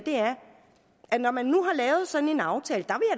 når man nu har lavet sådan en aftale der